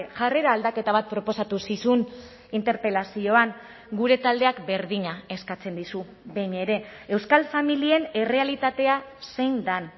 jarrera aldaketa bat proposatu zizun interpelazioan gure taldeak berdina eskatzen dizu behin ere euskal familien errealitatea zein den